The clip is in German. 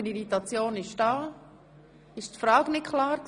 War die Abstimmungsfrage unklar?